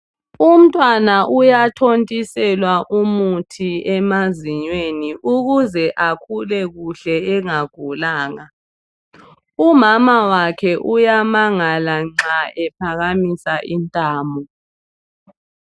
Umntwana uyathontiselwa umuthi emazinyweni ukuze akhule kuhle engagulanga. Umamawakhe uyamangala nxa ephakamisa intamo